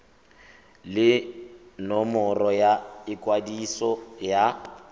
le nomoro ya ikwadiso ya